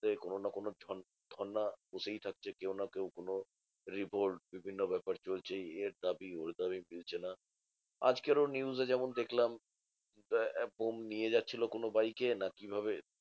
সে কোনো না কোনো ধর্ণা হতেই থাকছে কেউ না কেউ কোনো revolve বিভিন্ন ব্যাপার চলছেই এর দাবি ওর দাবি মিলছে না। আজকেরও news এ যেমন দেখলাম, বোম নিয়ে যাচ্ছিলো কোনো বাইকে না কিভাবে